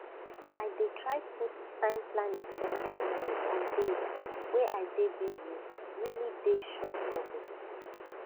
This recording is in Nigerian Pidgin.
i dey try put time planning first even on days way i dey busye really dey sure for body